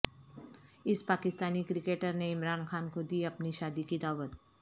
اس پاکستانی کرکٹرنےعمران خان کودی اپنی شادی کی دعوت